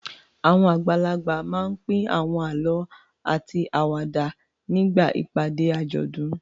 Àwọn àgbàlagbà máa ń pín àwọn àlọ́ àti àwàdà nígbà ìpàdé àjọ̀dún.